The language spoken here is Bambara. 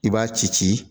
I b'a ci ci